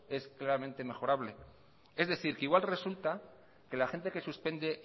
es claramente mejorable es decir que igual resulta que la gente que suspende